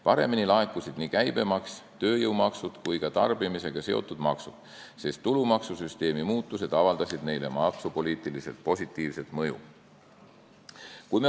Paremini laekusid nii käibemaks, tööjõumaksud kui ka tarbimisega seotud maksud, sest tulumaksusüsteemi muudatused avaldasid neile maksupoliitiliselt positiivset mõju.